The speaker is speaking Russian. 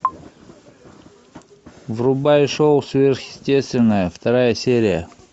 врубай шоу сверхъестественное вторая серия